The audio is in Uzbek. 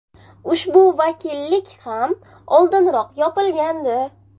Ushbu vakillik ham oldinroq yopilgandi.